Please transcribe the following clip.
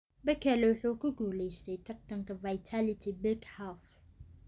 Bekele wuxuu ku guuleystey tartanka Vitality Big Half